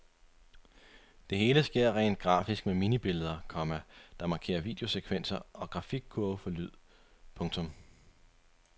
Det hele sker rent grafisk med minibilleder, komma der markerer videosekvenser og grafikkurve for lyd. punktum